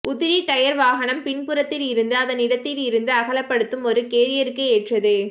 உதிரி டயர் வாகனம் பின்புறத்தில் இருந்து அதன் இடத்திலிருந்து அகலப்படுத்தும் ஒரு கேரியருக்கு ஏற்றது